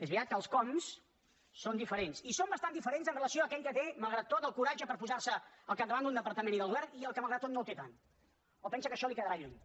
és veritat que els com són diferents i són bastant diferents amb relació a aquell que té malgrat tot el coratge per posar se al capdavant d’un departament i del govern i el que malgrat tot no el té tant o pensa que això li quedarà lluny